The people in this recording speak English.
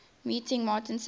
meeting martin says